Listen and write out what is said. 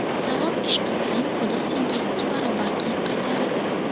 Savob ish qilsang, Xudo senga ikki barobar qilib qaytaradi.